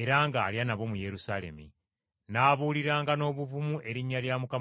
era ng’alya nabo mu Yerusaalemi. N’abuuliranga n’obuvumu erinnya lya Mukama waffe.